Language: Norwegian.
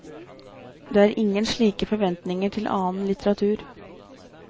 Det er ingen slike forventninger til annen litteratur.